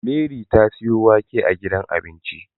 Mary ta siyo wake a gidan abinci